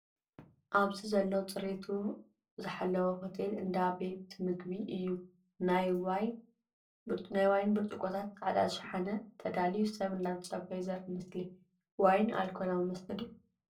ኣብዚ ዘሎ ዝፅሬቱ ዝሃለው ሆቴል እንዳ ምግቢ ቤት እዩ። ናይ ዋይ ብርፅቆታት ፃዕዳ ሻሓነ ተዳልዩ ሰብ እንዳተፀበዩ ዘርኢ ምስሊ። ዋይን ኣልኮላዊ መስተ ድዩ ?